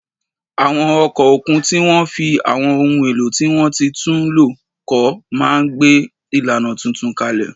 Àwọn ọkọ̀ òkun tí wọ́n fi àwọn ohun èlò tí wọ́n ti tún lò kọ́ máa gbé ìlànà tuntun kalẹ̀